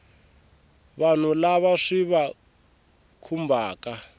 vanhu lava swi va khumbhaka